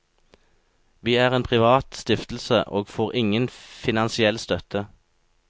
Vi er en privat stiftelse og får ingen finansiell støtte.